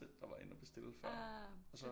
Der var inde og bestille før og så